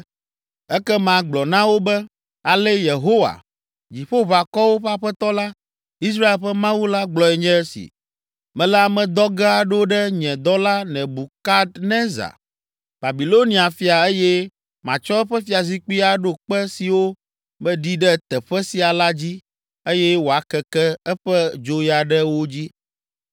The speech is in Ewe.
Ekema gblɔ na wo be, ‘Ale Yehowa, Dziƒoʋakɔwo ƒe Aƒetɔ la, Israel ƒe Mawu la gblɔe nye esi: Mele ame dɔ ge aɖo ɖe nye dɔla Nebukadnezar, Babilonia fia eye matsɔ eƒe fiazikpui aɖo kpe siwo meɖi ɖe teƒe sia la dzi eye wòakeke eƒe dzoya ɖe wo dzi.